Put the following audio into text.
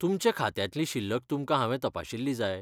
तुमच्या खात्यांतली शिल्लक तुमकां हांवें तपाशिल्ली जाय?